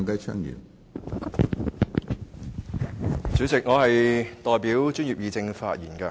主席，我代表專業議政發言。